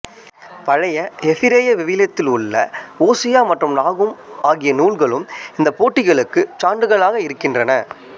பழைய எபிரேய விவிலியத்தில் உள்ள ஓசியா மற்றும் நாகூம் ஆகிய நூல்களும் இந்த போட்டிகளுக்கு சான்றுகளாக இருக்கின்றன